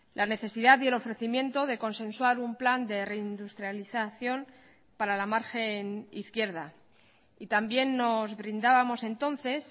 la necesidad y el ofrecimiento de consensuar un plan de reindustrialización para la margen izquierda y también nos brindábamos entonces